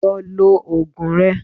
Lọ lò Ògùn ẹ.